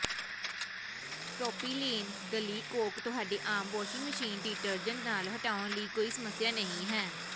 propylene glycol ਤੁਹਾਡੇ ਆਮ washing machine detergent ਨਾਲ ਹਟਾਉਣ ਲਈ ਕੋਈ ਸਮੱਸਿਆ ਨਹੀਂ ਹੈ